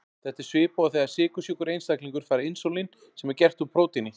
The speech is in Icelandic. Þetta er svipað og þegar sykursjúkur einstaklingur fær insúlín sem er gert úr prótíni.